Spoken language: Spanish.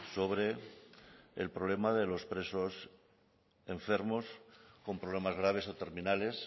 sobre el problema de los presos enfermos con problemas graves o terminales